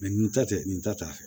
nin ta tɛ nin ta t'a fɛ